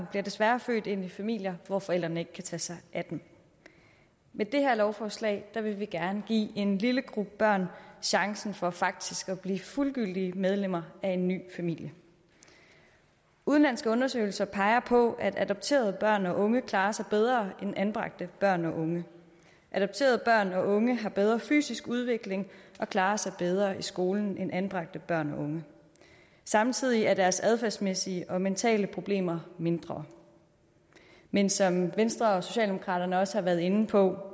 bliver desværre født ind i familier hvor forældrene ikke kan tage sig af dem med det her lovforslag vil vi gerne give en lille gruppe børn chancen for faktisk at blive fuldgyldige medlemmer af en ny familie udenlandske undersøgelser peger på at adopterede børn og unge klarer sig bedre end anbragte børn og unge adopterede børn og unge har bedre fysisk udvikling og klarer sig bedre i skolen end anbragte børn og unge samtidig er deres adfærdsmæssige og mentale problemer mindre men som venstre og socialdemokraterne også har været inde på